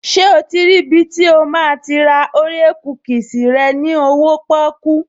Ṣé o ti rí ibi tí o máa ti ra orea kúkìsì rẹ ní owóo pọ́kú?